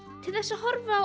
til þess að horfa á